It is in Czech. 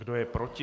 Kdo je proti?